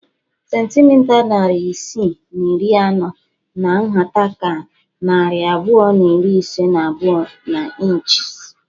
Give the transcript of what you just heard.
Centimita narị isii na iri anọ hà nhata ka narị abụọ na iri ise na abụọ n'ịnchis